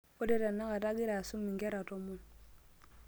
ore tenakata agira asum nkera tomon